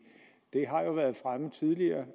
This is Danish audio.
det har været fremme tidligere